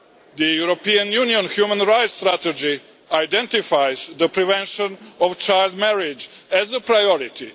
The European Union human rights strategy identifies the prevention of child marriage as a priority.